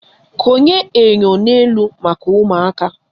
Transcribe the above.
Konye enyo n'elu maka ụmụaka.